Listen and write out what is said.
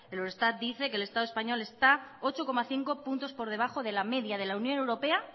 el eurostat dice que el estado español está ocho coma cinco puntos por debajo de la media de la unión europea